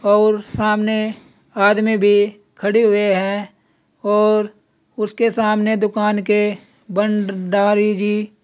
और सामने आदमी भी खड़े हुए हैं और उसके सामने दुकान के भंडारी जी --